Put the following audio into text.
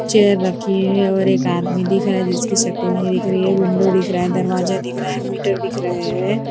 Chair रखी है और एक आदमी दिख रहा है जिसकी शक्ल नहीं दिख रही है ये विंडो दिख रहा दरवाजा दिख रहा मीटर दिख रहा है।